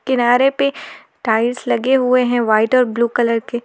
किनारे पे टाइल्स लगे हुए हैं व्हाइट और ब्लू कलर के।